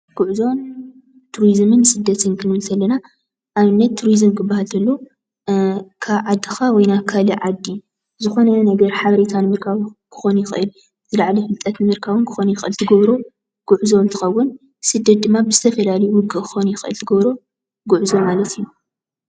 ጉዕዞን ቱሪዙምን ስደትን ክንብል እንተለና ንኣብነት ቱሪዙም ክባሃል እንተሎ ካብ ዓድኻ ናብ ካሊእ ዓዲ ዝኾነ ሓበሬታ ንምርካብ ክኾን ይኽእል። ዝለዓለ ፍልጠት ንምርካብ እውን ክኾን ይኽእል፤ እትገብሮ ጉዕዞ እንትኾን ድማ ብዝተፈላለዩ ድማ ክኾን ትገብሮ ጉዕዞ ማለት እዩ።